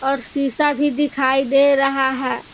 और शीशा भी दिखाई दे रहा है।